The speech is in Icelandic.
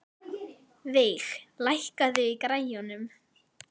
Veig, lækkaðu í græjunum.